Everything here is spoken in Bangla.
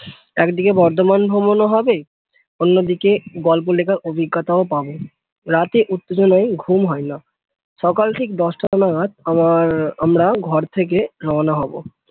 একদিকে বর্ধমান ভ্রমণ ও হবে অন্যদিকে গল্প লেখার অভিজ্ঞতাও পাবো রাতে উত্তেজনায় ঘুম হয় না সকাল ঠিক দশটা নাগাদ আমার আমরা ঘর থেকে রওনা হব